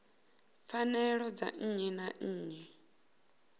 pfanelo dza nnyi na nnyi